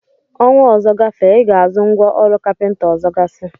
Ọnwa ọzọ gafee, I Ga-azụ ngwa ọrụ kapịnta ọzọgasị?